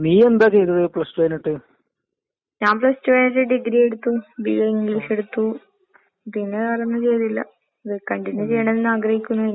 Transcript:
ഏ ആം അയിനുള്ള മൂല്യവും നമ്മൾ ചെയ്യ്ന്ന ജോലിക്ക്ണ്ടാവും. അതൊറപ്പായ കാര്യാന്ന്. ഇതിപ്പ ഞാൻ ഏ കണ്ട് പഠിച്ചതാണ്. ഓരോരുത്തരും ഇങ്ങനെ പഠിച്ചെന്റെ കൂടെ പഠിച്ചധികാളും പിജി കഴിഞ്ഞു.